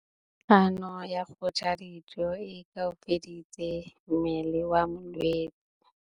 Kganô ya go ja dijo e koafaditse mmele wa molwetse.